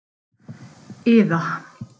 Iða